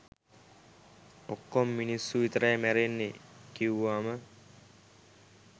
"ඔක්කොම මිනිස්සු විතරයි මැරෙන්නේ" කිව්වම